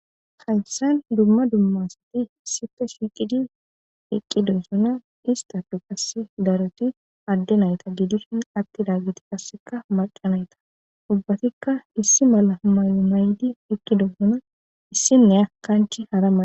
hayssan dumma dummasati issife shiiqidi eqqidosuna istatu qasse daroti adde nayta gidishin atti daggiti qasseka maqanayta ubbatikka issi mala may7o may7di eqqidosuna issinne akkanchi hara mana